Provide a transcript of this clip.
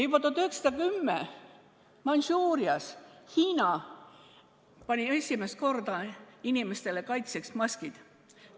Juba 1910. aastal Mandžuurias pani Hiina esimest korda inimestele kaitseks ette maskid.